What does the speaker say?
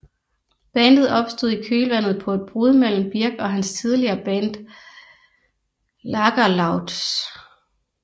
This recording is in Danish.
Bandet opstod i kølvandet på et brud mellem Birk og hans tidligere band Lagerloudz